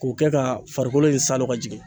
K'o kɛ ka farikolo in salo ka jigin